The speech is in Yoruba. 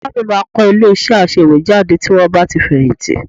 Ìyá mi máa kọ́ ilé-iṣẹ́ aṣèwéjádé tí wọ́n bá ti fẹ̀yìntì